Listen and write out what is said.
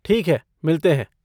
ठीक है, मिलते हैं।